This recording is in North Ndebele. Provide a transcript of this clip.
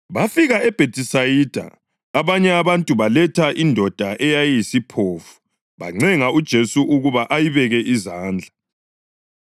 Bafika eBhethisayida, abanye abantu baletha indoda eyayiyisiphofu bancenga uJesu ukuba ayibeke izandla.